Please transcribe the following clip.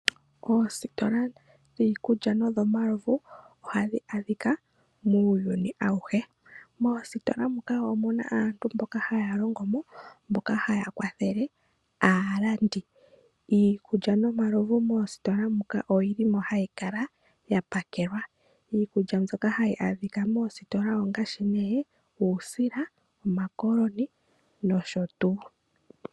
Oositola dhiikulya nodhomalovu ohadhi adhika muuyuni awuhe . Moositola moka omuna aantu mboka haya longomo mboka haya kwathele aalandi . Iikulya nomalovu moositola muka oyi limo hayi kala ya pakelwa . Iikulya mbyoka hayi adhika moositola ongaashi omayi, uusila, omakoloni nosho tuu.